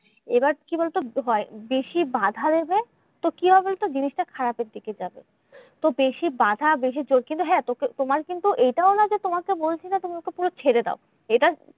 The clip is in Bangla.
এবার কি বলোতো? ভয় বেশি বাঁধা দেবে তো কি হবে? জিনিসটা খারাপের দিকে যাবে। তো বেশি বাঁধা বেশি চোখ কিন্তু হ্যাঁ তো তোমার কিন্তু এইটাও না যে তোমাকে বলছি যে তুমি ওকে পুরো ছেড়ে দাও, এটা